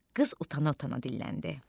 Qız utana-utana dilləndi: